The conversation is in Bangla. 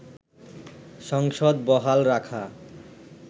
সংসদ বহাল রাখা